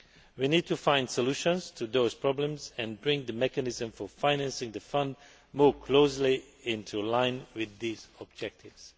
We need to find solutions for these problems and bring the mechanism for financing the Fund more closely into line with these objectives.